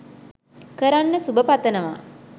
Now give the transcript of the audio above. කරන්න සුබ පතනවා